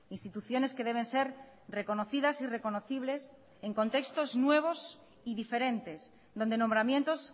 instituciones que deben ser reconocidas y reconocibles en contextos nuevos y diferentes donde nombramientos